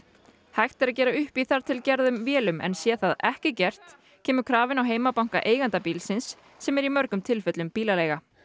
hægt er að gera upp í þar til gerðum vélum en sé það ekki gert kemur krafa inn á heimabanka eiganda bílsins sem er í mörgum tilfellum bílaleiga